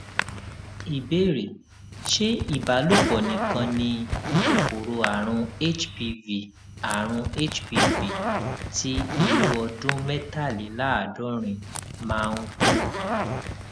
ìbéèrè ṣé ìbálòpò nìkan ni kòkòrò àrùn hpv àrùn hpv ti irú ọdún métàléláàádórin máa ń kó